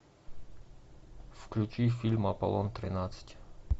включи фильм аполлон тринадцать